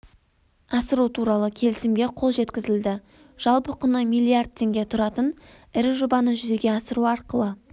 асыру туралы келісімге қол жеткізілді жалпы құны миллиард теңге тұратын ірі жобаны жүзеге асыру арқылы